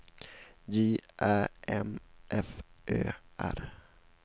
J Ä M F Ö R